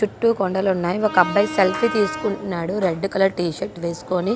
చుట్టూ కొండలున్నాయ్.ఒక అబ్బాయి సెల్ఫీ తీసుకుంటున్నాడు.రెడ్ కలర్ టీ షర్ట్ వేసుకొని--